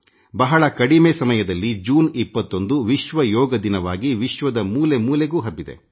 ಬಹಳ ಕಡಿಮೆ ಅವಧಿಯಲ್ಲಿ ಜೂನ್ 21 ಅಂತಾರಾಷ್ಟ್ರೀಯ ಯೋಗ ದಿನವಾಗಿ ವಿಶ್ವದ ಮೂಲೆ ಮೂಲೆಗೂ ಹಬ್ಬಿದೆ